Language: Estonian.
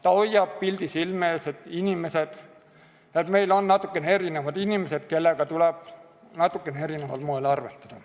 See hoiab pildi silme ees, et meil on natukene erinevaid inimesi, kellega tuleb natukene erineval moel arvestada.